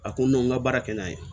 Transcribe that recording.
A ko n ma n ka baara kɛ n'a ye